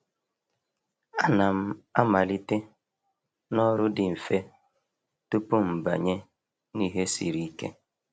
A na'm amalite na ọrụ dị mfe tupu m banye n’ihe siri ike.